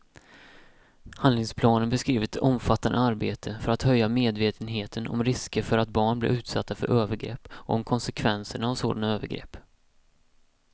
Handlingsplanen beskriver ett omfattande arbete för att höja medvetenheten om risker för att barn blir utsatta för övergrepp och om konsekvenserna av sådana övergrepp.